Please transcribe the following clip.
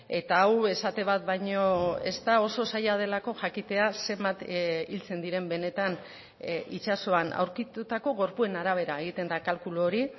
eta hau esate bat baino ez da oso zaila delako jakitea zenbat hiltzen diren benetan itsasoan aurkitutako gorpuen arabera egiten da kalkulu hori